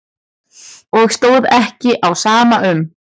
Og stóð ekki á sama um.